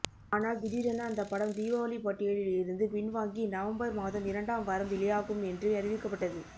ஆனால் திடீரென அந்த படம் தீபாவளி பட்டியலில் இருந்து பின்வாங்கி நவம்பர் மாதம் இரண்டாம் வாரம் வெளியாகும் என்று அறிவிக்கப்பட்டது